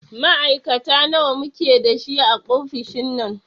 Ma'aikata nawa muke da shi a ofishin nan?